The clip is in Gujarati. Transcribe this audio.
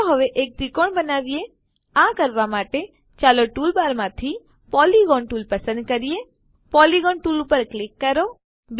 ચાલો હવે એક ત્રિકોણ બનાવીએ આ કરવા માટે ચાલો ટૂલબારમાંથી પોલિગોન ટૂલ પસંદ કરીએ પોલિગોન ટૂલ પર ક્લિક કરો